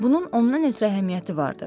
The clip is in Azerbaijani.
Bunun ondan ötrü əhəmiyyəti vardı.